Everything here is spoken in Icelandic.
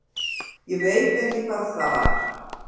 Ég veit bara ekki hvað það var.